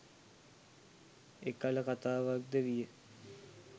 එකළ කතාවක් ද විය